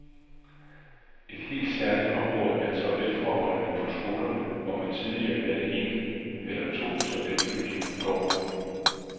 Et helt særligt område er toiletforholdene på skolerne, hvor man tidligere havde en eller to toiletbygninger i gården.